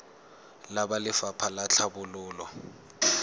le ba lefapha la tlhabololo